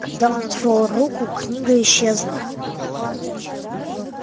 когда он отвёл руку книга исчезла